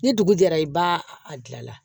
Ni dugu jɛra i b'a a gilan la